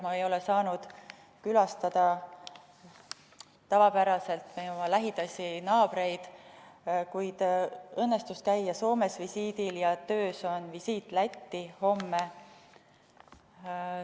Ma ei ole saanud külastada nagu tavapäraselt oma lähedasi naabreid, kuid õnnestus käia Soomes visiidil ja töös on visiit Lätti, mis toimub homme.